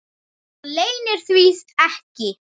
Hann leynir því ekki.